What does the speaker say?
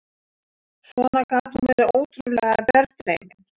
Svona gat hún verið ótrúlega berdreymin.